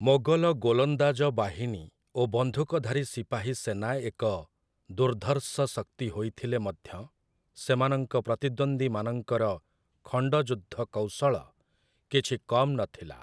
ମୋଗଲ ଗୋଲନ୍ଦାଜ ବାହିନୀ ଓ ବନ୍ଧୁକଧାରୀ ସିପାହୀ ସେନା ଏକ ଦୁର୍ଦ୍ଧର୍ଷ ଶକ୍ତି ହୋଇଥିଲେ ମଧ୍ୟ, ସେମାନଙ୍କ ପ୍ରତିଦ୍ୱନ୍ଦ୍ୱୀମାନଙ୍କର ଖଣ୍ଡଯୁଦ୍ଧ କୌଶଳ କିଛି କମ୍‌ ନଥିଲା ।